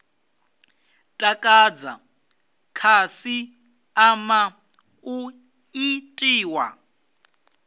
takadza khasi ama u itiwa